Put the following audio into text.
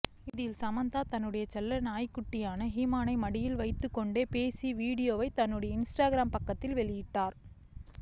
இதில் சமந்தா தன்னுடைய செல்ல நாய்க்குட்டியான ஹூமனை மடியில் வைத்துக்கொண்டு பேசிய வீடியோவைத் தன்னுடைய இன்ஸ்டாகிராம் பக்கத்தில் வெளியிட்டார்